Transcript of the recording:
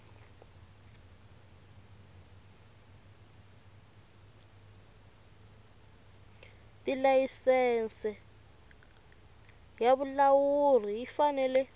tilayisense ya vulawuli yi fanele